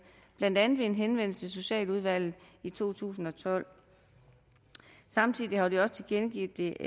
blandt andet ved en henvendelse til socialudvalget i to tusind og tolv samtidig har de også tilkendegivet det